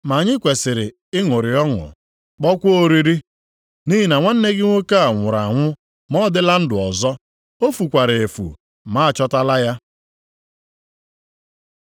Ma anyị kwesiri ịṅụrị ọṅụ, kpọọkwa oriri, nʼihi na nwanne gị nwoke a nwụrụ anwụ ma ọ dịla ndụ ọzọ. O fukwara efu ma a chọtala ya. ’”